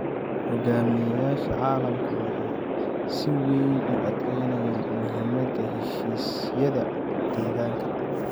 Hoggaamiyeyaasha caalamka waxay si weyn u adkaynayaan muhiimadda heshiisyada deegaanka.